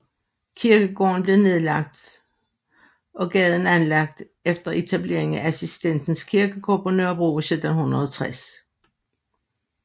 Kirkegården blev nedlagt og gaden anlagt efter etableringen af Assistens Kirkegård på Nørrebro i 1760